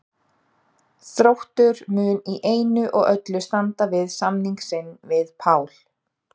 Þróttur mun í einu og öllu standa við samning sinn við Pál.